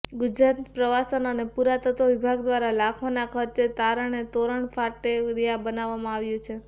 ગુજરાત પ્રવાસન અને પુરાતત્વ વિભાગ દ્વારા લાખોના ખર્ચે તોરણ કાફેટેરિયા બનાવવામાં આવ્યું છે